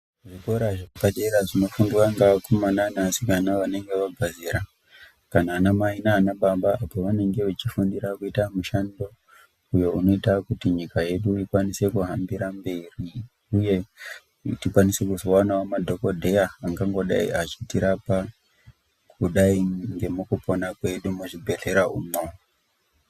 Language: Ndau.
Zvikora zvepadera zvinofundwa ngavakomana nevasikana vanenge vabva zera kana anamai nanababa pevanenge vachifanira kuita mushando uyo inoita kuti nyika yedu ikwanise kuhambira mberi uye kuti tizokwanisawo kuzowana madhogodheya angangodai echitirapa, kudai ngemukupona kwedumuzvibhedhlera umwo.